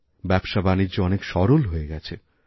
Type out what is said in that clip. ব্যবসাবাণিজ্য অনেক সরল হয়ে গেছে